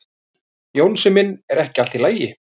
Jónsi minn, er ekki allt í lagi?